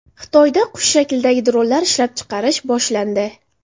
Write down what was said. Xitoyda qush shaklidagi dronlar ishlab chiqarish boshlandi.